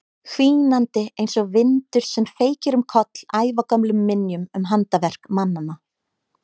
Hvínandi einsog vindur sem feykir um koll ævagömlum minjum um handaverk mannanna.